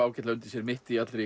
ágætlega undir sér mitt í allri